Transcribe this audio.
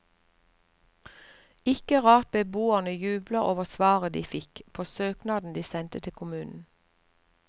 Ikke rart beboerne jubler over svaret de fikk på søknaden de sendte til kommunen.